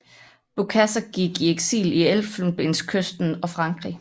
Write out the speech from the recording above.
Bokassa gik i eksil i Elfenbenskysten og Frankrig